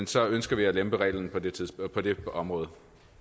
så ønsker vi at lempe reglerne på det på det område